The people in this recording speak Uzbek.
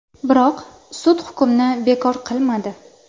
Biroq sud hukmni bekor qilmadi.